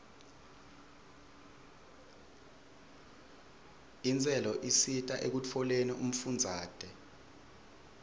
intselo isita ekutfoleni umfundzate